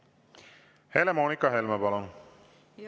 Helle-Moonika Helme, palun!